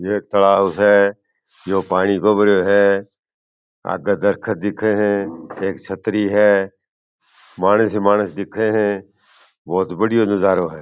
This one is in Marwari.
ये तालब स है यो पानी भरो है आगे दरकत दिखे है एक छतरी है मानस ही मानस दिखे है बहुत बड़ियो नजरो है।